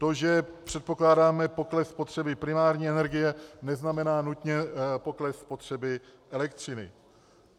To, že předpokládáme pokles spotřeby primární energie, neznamená nutně pokles spotřeby elektřiny.